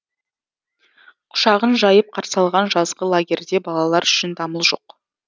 құшағын жайып қарсы алған жазғы лагерьде балалар үшін дамыл жоқ